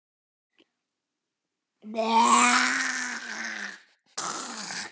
Bóas yppti öxlum og sveigði munnvikin í lítilsvirðingar